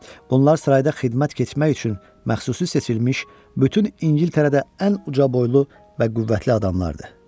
Bunlar sırayda xidmət keçmək üçün məxsusi seçilmiş, bütün İngiltərədə ən uca boylu və qüvvətli adamlardır.